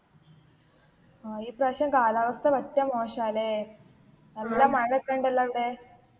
ആ ഇപ്രാവശ്യം കാലാവസ്ഥ പറ്റ മോശാല്ലേ. നല്ല മഴൊക്കെണ്ടല്ലോ അ വിടെ.